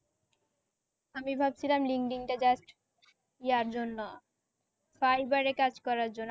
আমি ভাবছিলাম linkedin টা just ইয়ার জন্য fiber রে কাজ করার জন্য